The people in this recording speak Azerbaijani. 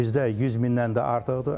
Bizdə 100 mindən də artıqdır.